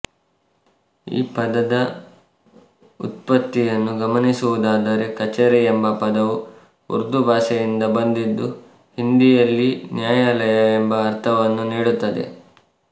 ಈ ಪದದ ವ್ಯುತ್ಪತ್ತಿಯನ್ನು ಗಮನಿಸುವುದಾದರೆ ಕಛೇರಿ ಎಂಬ ಪದವು ಉರ್ದು ಭಾಷೆಯಿಂದ ಬಂದಿದ್ದು ಹಿಂದಿಯಲ್ಲಿ ನ್ಯಾಯಾಲಯ ಎಂಬ ಅರ್ಥವನ್ನು ನೀಡುತ್ತದೆ